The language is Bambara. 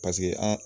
Paseke an